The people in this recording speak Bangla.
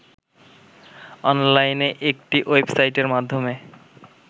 অনলাইনে একটি ওয়েবসাইটের মাধ্যমে